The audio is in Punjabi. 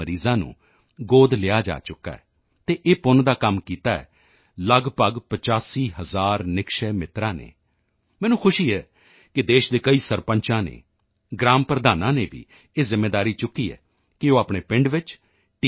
ਮਰੀਜ਼ਾਂ ਨੂੰ ਗੋਦ ਲਿਆ ਜਾ ਚੁੱਕਾ ਹੈ ਅਤੇ ਇਹ ਪੁੰਨ ਦਾ ਕੰਮ ਕੀਤਾ ਹੈ ਲਗਭਗ 85 ਹਜ਼ਾਰ ਨਿਕਸ਼ੈ ਮਿੱਤਰਾਂ ਨੇ ਮੈਨੂੰ ਖੁਸ਼ੀ ਹੈ ਕਿ ਦੇਸ਼ ਦੇ ਕਈ ਸਰਪੰਚਾਂ ਨੇ ਗ੍ਰਾਮ ਪ੍ਰਧਾਨਾਂ ਨੇ ਵੀ ਇਹ ਜ਼ਿੰਮੇਵਾਰੀ ਚੁੱਕੀ ਹੈ ਕਿ ਉਹ ਆਪਣੇ ਪਿੰਡ ਵਿੱਚ ਟੀ